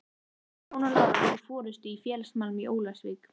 Jón og Lára voru í forystu í félagsmálum í Ólafsvík.